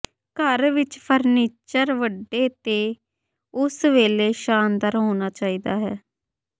ਘਰ ਵਿੱਚ ਫਰਨੀਚਰ ਵੱਡੇ ਅਤੇ ਉਸੇ ਵੇਲੇ ਸ਼ਾਨਦਾਰ ਹੋਣਾ ਚਾਹੀਦਾ ਹੈ